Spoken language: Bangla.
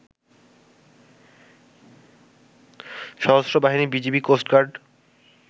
সশস্ত্র বাহিনী, বিজিবি, কোস্টগার্ড